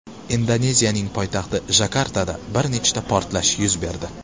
Indoneziyaning poytaxti Jakartada bir nechta portlash yuz berdi.